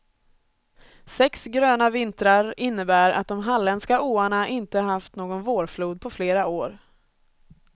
Sex gröna vintrar innebär att de halländska åarna inte haft någon vårflod på flera år.